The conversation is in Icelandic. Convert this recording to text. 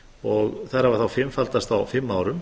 og þær hafa þá fimmfaldast á fimm árum